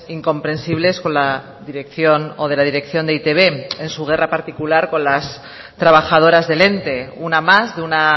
incomprensibles con la dirección o de la dirección de e i te be en su guerra particular con las trabajadoras del ente una más de una